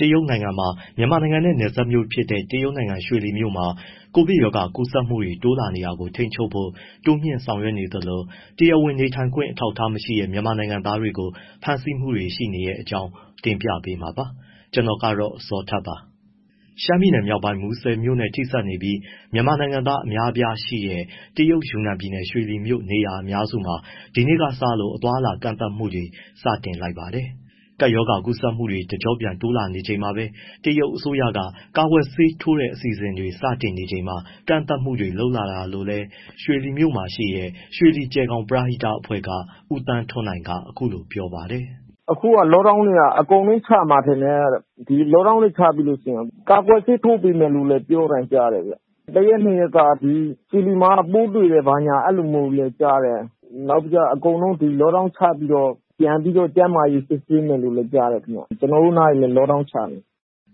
တရုတ်နိုင်ငံမှာ မြန်မာနိုင်ငံနဲ့နယ်စပ်မြို့ဖြစ်တဲ့ တရုတ်နိုင်ငံ ရွှေလီမြို့မှာ ကိုဗစ်ကပ်ရောဂါ ကူးစက်မှုတွေ တိုးလာနေတာကို ထိန်းချုပ်ဖို့ တိုးမြှင့်ဆောင်ရွက်နေသလို၊ တရားဝင်နေထိုင်ခွင့် အထောက်အထားမရှိတဲ့ မြန်မာနိုင်ငံသားတွေကို ဖမ်းဆီးမှုတွေ ရှိနေတဲ့အကြောင်းကို ဗွီအိုအေမြန်မာပိုင်း သတင်းထောက် ကိုဇော်ထက်က တင်ပြပေးမှာပါ။ ရှမ်းပြည်မြောက်ပိုင်း မူဆယ်မြို့နဲ့ ထိစပ်နေပြီး မြန်မာနိုင်ငံသား အများအပြားရှိတဲ့ တရုတ်ယူနန်ပြည်နယ်၊ ရွှေလီမြို့နေရာအများစုမှာ ဒီနေ့ကစလို့ အသွားအလာ ကန့်သတ်မှုတွေ စတင်လိုက်ပါတယ်။ ကပ်ရောဂါကူးစက်မှုတွေ တကျော့ပြန် တိုးလာနေချိန်မှာပဲ တရုတ်အစိုးရက ကာကွယ်ဆေး ထိုးတဲ့အစီအစဉ်တွေ စတင်နေချိန်မှာ ကန့်သတ်မှုတွေ လုပ်လာတာလို့လည်း ရွှေလီမြို့မှာရှိတဲ့ ရွှေလီ- ကြယ်ဂေါင် ပရဟိတအဖွဲ့က ဦးသန်းထွန်းနိုင်က အခုလိုပြောပါတယ်။ “အခုက lockdown တွေက အကုန်လုံး ချမှာထင်တယ်။ ဒီ lockdown တွေ ချပြီးလို့ရှိရင် ကာကွယ်ဆေး ထိုးပေးမယ်လို့လည်း ပြောသံကြားတယ်။ တရက်နှစ်ရက်က ဒီ ရွှေလီမှာက ပိုးတွေ့တယ်။ ဘာညာအဲဒီလိုမျိုးလည်း ကြားတယ်။ နောက်ပြီး အကုန်လုံး lockdown ချပြီးတော့ ပြန်ပြီး ကျန်းမာရေး စစ်ဆေးမယ်လို့လဲ ကြားတယ်ခင်ဗျ။ ကျနော်တို့နားတွေလည်း lockdown ချနေ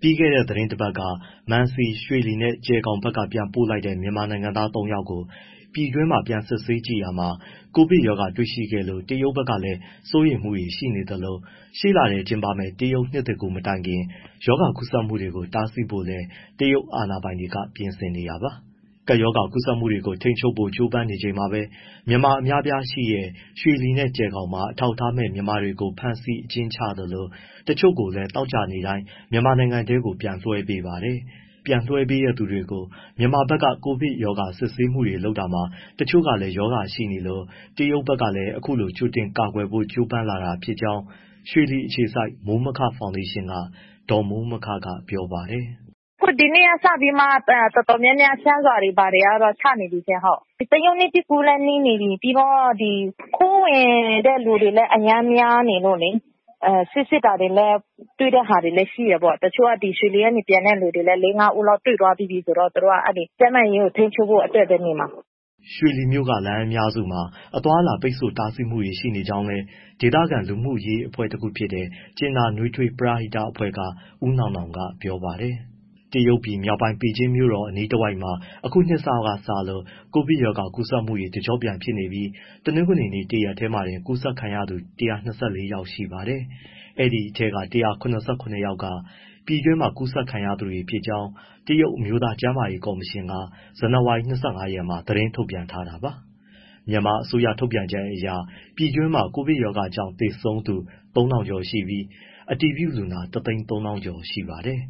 တယ်။” ပြီးခဲ့တဲ့ သီတင်းတပတ်က မန်စီ၊ ရွှေလီနဲ့ ကြယ်ဂေါင်ဘက်က ပြန်ပို့လိုက်တဲ့ မြန်မာနိုင်ငံသား သုံး ယောက်မှာကို ပြည်တွင်းမှာ စစ်ဆေးကြည့်တာမှာ ကိုဗစ်ရောဂါတွေ့ရှိခဲ့လို့ တရုတ်ဘက်ကလည်း စိုးရိမ်မှုတွေရှိနေသလို ရှေ့လထဲ ကျင်းပမဲ့ တရုတ်နှစ်သစ်ကူးမတိုင်ခင် ရောဂါကူးစက်မှုတွေကို တားဆီးဖို့လည်း တရုတ်အာဏာပိုင်တွေ ပြင်ဆင်နေတာပါ။ ကပ်ရောဂါကူးစက်မှုတွေကို ထိန်းချုပ်ဖို့ ကြိုးပမ်းနေချိန်မှာပဲ မြန်မာအများအပြားရှိတဲ့ ရွှေလီနဲ့ ကြယ်ဂေါင်မှာ အထောက်အထားမဲ့ မြန်မာတွေကို ဖမ်းဆီး၊ အကျဉ်းချသလို တချို့ကိုလည်း သောကြာနေ့တိုင်း မြန်မာနိုင်ငံထဲ ပြန်လွှဲပေးပါတယ်။ ပြန်လွှဲပေးတဲ့ သူတွေကို မြန်မာဘက်က ကိုဗစ်ရောဂါ စစ်ဆေးမှုတွေ လုပ်တာမှာ တချို့က ရောဂါရှိနေလို့ တရုတ်ဘက်ကလည်း အခုလို ကြိုတင်ကာကွယ်ဖို့ ကြိုးပမ်းလာတာဖြစ်ကြောင်း ရွှေလီအခြေစိုက် မိုးမခဖောင်ဒေးရှင်းက ဒေါ်မိုးမခက ပြောပါတယ်။ “အခုဒီနေ့က စပြီးတော့မှ တော်တော်များများ ရှမ်းရွာတွေ ဘာတွေတော့ (lockdown) ချနေပြီရှင့်။ တရုတ်နှစ်သစ်ကူးလည်း နီးနေပြီ၊ ပြီးတော့ ခိုးဝင်တဲ့သူတွေလည်း အရမ်းများနေလို့လေ။ ဆေးစစ်တာတွေလည်း တွေ့တဲ့ဟာတွေလည်းရှိတယ်။ တချို့က ဒီရွှေလီကနေ ပြန်တဲ့သူတွေလည်း လေး၊ ငါးဦး တွေ့သွားပြီးပြီဆိုတော့ သူတို့က ကျန်းမာရေး ထိန်းချုပ်ဖို့အတွက်ပဲနေမှာ။” ရွှေလီမြို့က လမ်းအများစုမှာ အသွားအလာတွေ ပိတ်ဆို့တားဆီးမှုတွေ ရှိနေကြောင်းလည်း ဒေသခံလူမှုရေးအဖွဲ့ တခုဖြစ်တဲ့ ကြင်နာနွေးထွေး ပရဟိတက ဦးနောင်နောင်ကပြောပါတယ်။ တရုတ်ပြည်မြောက်ပိုင်း ပေကျင်းမြို့တော် အနီးတဝိုက်မှာ အခုနှစ်စမှာ ကိုဗစ်ရောဂါကူးစက်မှုတွေ တကျော့ပြန်ဖြစ်နေပြီး တနင်္ဂနွေ တရက်တည်းမှာတင် ကူးစက်ခံရသူ ၁၂၄ ယောက်ရှိပါတယ်။ အဲဒီထဲမှာ ၁၁၇ ယောက်က ပြည်တွင်းမှာ ကူးစက်ခံရသူတွေဖြစ်ကြောင်း တရုတ်အမျိုးသား ကျန်းမာရေး ကော်မရှင်က ဇန်နဝါရီ ၂၅ ရက်မှာ သတင်းထုတ်ပြန် ထားတာပါ။ မြန်မာအစိုးရထုတ်ပြန်ချက်အရ ပြည်တွင်းမှာ ကိုဗစ်ရောဂါကြောင့် သေဆုံးသူ ၃,၀၀၀ ကျော်ရှိပြီး အတည်ပြုလူနာ ၁၃၀,၀၀၀ ကျော်ရှိပါတယ်